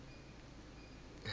igabence